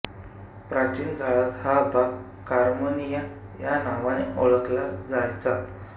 प्राचीनकाळात हा भाग कार्मेनिया या नावाने ओळखला जायचा